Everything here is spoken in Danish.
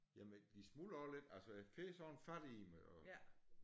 Jamen de smuldrer også lidt altså jeg får sådan fat i dem og